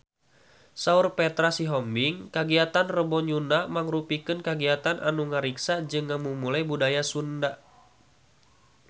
Saur Petra Sihombing kagiatan Rebo Nyunda mangrupikeun kagiatan anu ngariksa jeung ngamumule budaya Sunda